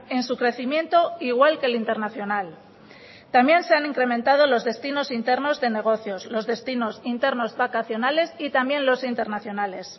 en su crecimiento igual que el internacional también se han incrementado los destinos internos de negocios los destinos internos vacacionales y también los internacionales